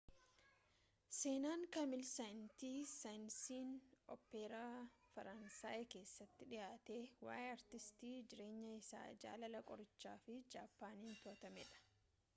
seenaan kaamil seeyinti saayensiin oopperaa faraansayii keessaatti dhiyaate waa’ee aartistii jireenyi isaa jaalala qorichaa fi jappaaniin to’atamedha